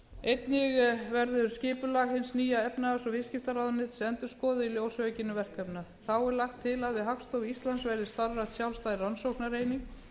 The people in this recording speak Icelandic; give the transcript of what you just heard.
einnig verður skipulag hins nýja efnahags og viðskiptaráðuneytis endurskoðað í ljósi aukinna verkefna þá er lagt til að við hagstofu íslands verði starfrækt sjálfstæð rannsóknareining